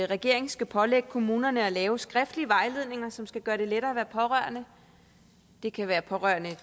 regeringen skal pålægge kommunerne at lave skriftlige vejledninger som skal gøre det lettere at være pårørende det kan være pårørende